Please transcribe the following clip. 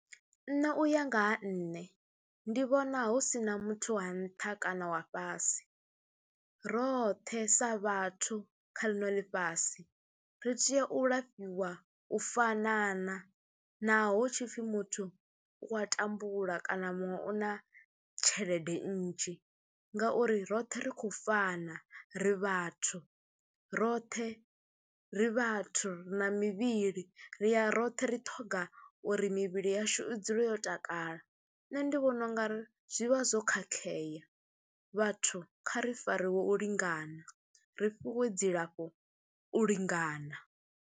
Nṋe u ya nga ha nṋe, ndi vhona hu si na muthu wa nṱha kana wa fhasi, roṱhe sa vhathu kha ḽino ḽifhasi ri tea u lafhiwa u fanana naho tshi pfhi muthu u a tambula kana muṅwe u na tshelede nnzhi ngauri roṱhe ri khou fana, ri vhathu, roṱhe ri vhathu ri na mivhili ri ya roṱhe ri ṱhoga uri mivhili yashu i dzule yo takala. Nṋe ndi vhona u nga ri zwi vha zwo khakhea, vhathu kha ri fariwe u lingana ri fhiwe dzilafho u lingana.